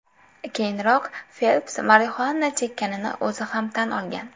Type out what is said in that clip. Keyinroq Felps Marixuana chekkanini o‘zi ham tan olgan.